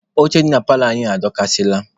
Oche dị na paalọ anyị adọkasịala.